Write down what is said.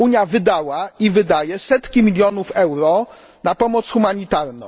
Unia wydała i wydaje setki milionów euro na pomoc humanitarną.